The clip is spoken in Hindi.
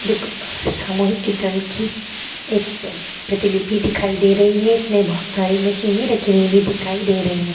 देख सामूहिक चित्रण की एक प्रतिलिपि दिखाई दे रही है। इसमें बहुत सारी मशीने रखी हुई भी दिखाई दे रही हैं।